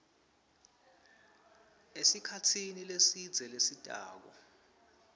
esikhatsini lesidze lesitako